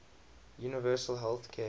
universal health care